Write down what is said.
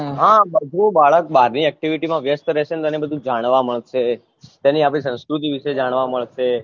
હા જો બાળક બારની activity મા વ્યસ્ત રહેશેને તો જાણવા મળશે તેની આપની સંસ્કૃતિ વિશે જાણવા મળશે